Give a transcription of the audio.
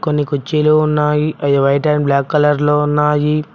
కొన్ని కుచ్చీలు ఉన్నాయి అవి వైట్ అండ్ బ్లాక్ కలర్లో ఉన్నాయి.